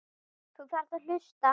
Þú þarft að hlusta.